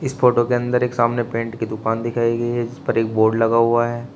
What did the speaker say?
इस फोटो के अंदर एक सामने पेंट की दुकान दिखाई गई है जिसपर एक बोर्ड लगा हुआ है।